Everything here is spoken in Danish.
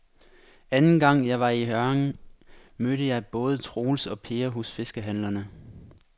Anden gang jeg var i Hjørring, mødte jeg både Troels og Per hos fiskehandlerne.